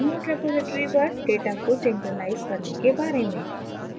remote repository पर data को synchronize समक्रमिक करने के बारे में